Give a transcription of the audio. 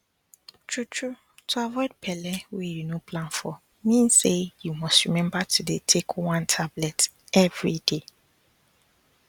truetrue to avoid belle wey you no plan for mean say you must remember to dey take one tablet everyday